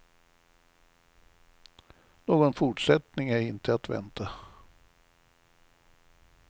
Någon fortsättning är inte att vänta.